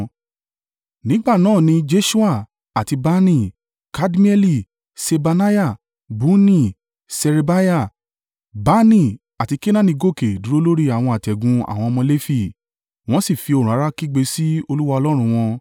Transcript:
Nígbà náà ni Jeṣua, àti Bani, Kadmieli, Ṣebaniah, Bunni, Ṣerebiah, Bani àti Kenaani gòkè dúró lórí àwọn àtẹ̀gùn àwọn ọmọ Lefi, wọ́n sì fi ohùn rara kígbe sí Olúwa Ọlọ́run wọn.